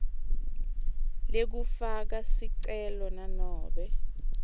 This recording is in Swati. lekufaka sicelo kunobe